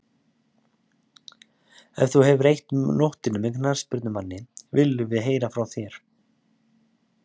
Ef þú hefur eytt nóttinni með knattspyrnumanni, viljum við heyra frá þér.